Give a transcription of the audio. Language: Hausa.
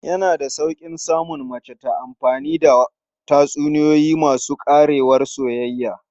Yana da sauƙi samun mace ta amfani da tatsuniyoyi masu ƙarewar soyayya.